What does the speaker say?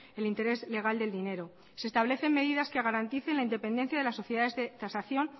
el interés legal del dinero se establecen medidas que garanticen la independencia de las sociedades de tasación